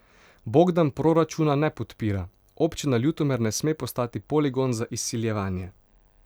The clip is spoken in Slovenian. Bogdan proračuna ne podpira: 'Občina Ljutomer ne sme postati poligon za izsiljevanje.